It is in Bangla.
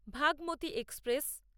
ভাগমতী এক্সপ্রেস